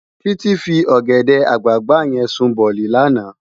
Titi fi ògèdè àgbágbá yèn sún bòlí làná